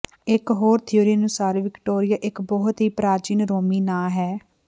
ਇਕ ਹੋਰ ਥਿਊਰੀ ਅਨੁਸਾਰ ਵਿਕਟੋਰੀਆ ਇਕ ਬਹੁਤ ਹੀ ਪ੍ਰਾਚੀਨ ਰੋਮੀ ਨਾਂ ਹੈ